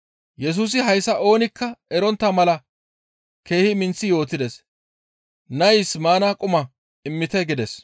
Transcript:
Yesusi hayssa oonikka erontta mala keehi minththi yootides; «Nays maana quma immite» gides.